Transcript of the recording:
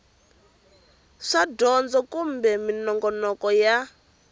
swa dyondzo kumbe minongonoko ya